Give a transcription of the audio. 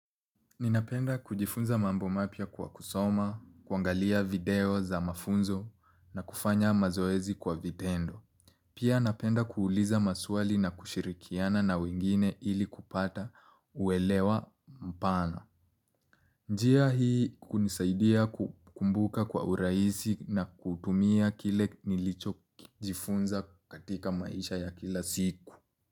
Ninapenda kujifunza mambo mapia kwa kusoma, kuangalia video za mafunzo na kufanya mazoezi kwa vitendo. Pia napenda kuuliza maswali na kushirikiana na wengine ili kupata uelewa mpana. Njia hii hunisaidia kukumbuka kwa uraisi na kutumia kile nilicho kujifunza katika maisha ya kila siku.